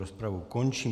Rozpravu končím.